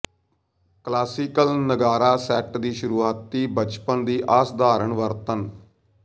classic ਨਗਾਰਾ set ਦੀ ਸ਼ੁਰੂਆਤੀ ਬਚਪਨ ਦੀ ਅਸਾਧਾਰਨ ਵਰਤਣ